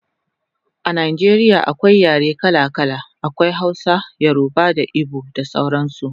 A Najeriya akwai yare kala kala, akwai Hausa, yoruba da igbo da sauran su